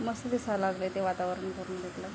मस्त दिसायला लागलंय वातावरण ते --